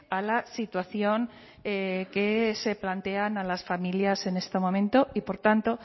a la situación que se plantea a las familias en este momento y por tanto